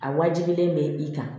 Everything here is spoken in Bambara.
A wajibilen bɛ i kan